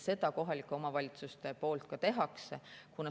Seda kohalikud omavalitsused ka teevad.